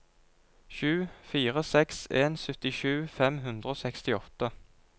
sju fire seks en syttisju fem hundre og sekstiåtte